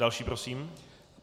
Další prosím.